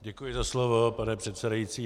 Děkuji za slovo, pane předsedající.